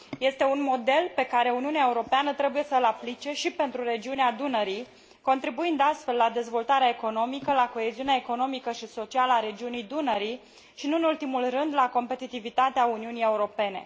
Este un model pe care Uniunea Europeană trebuie să îl aplice și pentru regiunea Dunării, contribuind astfel la dezvoltarea economică, la coeziunea economică și socială a regiunii Dunării și, nu în ultimul rând, la competitivitatea Uniunii Europene.